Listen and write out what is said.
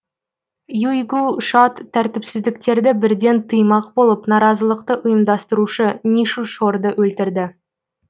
юйгу шад тәртіпсіздіктерді бірден тыймақ болып наразылықты ұйымдастырушы нишу шорды өлтірді